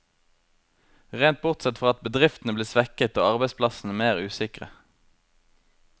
Rent bortsett fra at bedriftene blir svekket, og arbeidsplassene mer usikre.